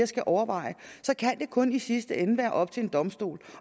skal overveje så kan det kun i sidste ende være op til en domstol